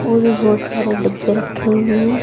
ओर भी बहोत सारे डब्बे रखे हुए हैं।